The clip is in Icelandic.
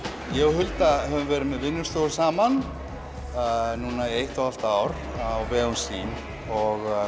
Hulda höfum verið með vinnustofu saman í eitt og hálft ár á vegum SÍM og